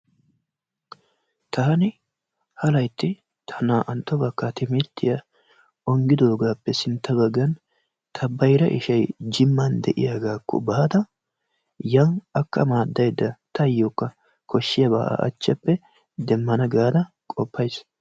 Taani ha laytti ta naa'antto bakaa timirttiya onggidoogappe nsintta baggan ta bayra ishay jimman de'iyaagaakko baada yani akka madaydda taayookka koshiyaba a achappe demmana gaada qopays.